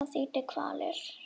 Það þýddi kvalir.